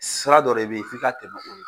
Sira dɔ de bɛ yen f' i ka tɛmɛ ola.